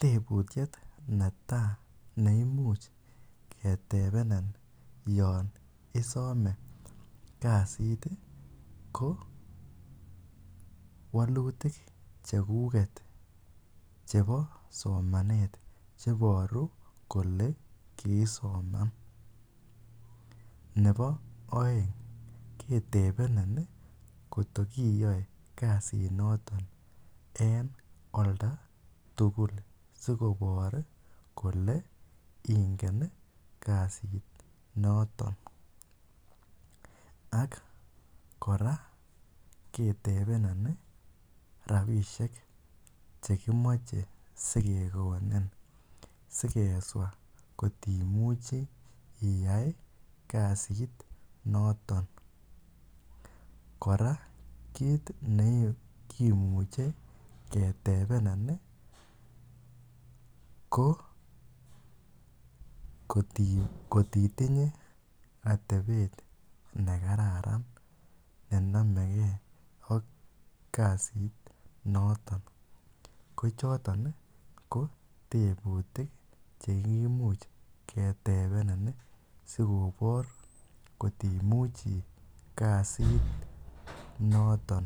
tebutiet neta neimuch ketebeniin yoon isome kasiti ko wolutik chekuket chebosomanet cheboru kole kiisoman nepo oeng ketebenin koto kiiyoe kasitnotok en oldatugul sikobor kole ingen kasinoton ak kora ketebenin rapishek chekimoche sikekonin sikeswa koti muche iyai kasit notok kora kit nekimuche ketebenin ko ngot itinye atebet nekararan nenomekee ak kasitnotok kochotoni ko tebutik chekimuch ketebenin sikopor kotimuchi kasit notok